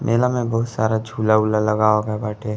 मेला में बोहोत सारा झूला उला लगाव गए बाटे।